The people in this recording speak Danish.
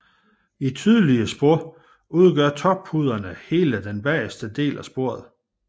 I tydelige spor udgør tåpuderne hele den bageste del af sporet